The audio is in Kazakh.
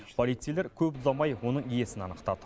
полицейлер көп ұзамай оның иесін анықтады